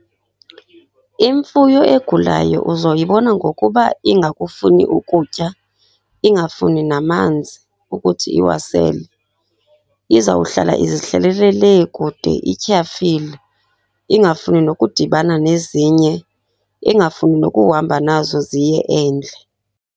Imfuyo egulayo uzoyibona ngokuba ingakufuni ukutya, ingafuni namanzi ukuthi iyawasele. Izawuhlala izihlalele lee kude ityhafile. Ingafuni nokudibana nezinye, ingafuni nokuhamba nazo ziye endle.